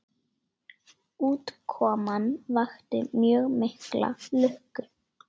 Útkoman vakti mjög mikla lukku.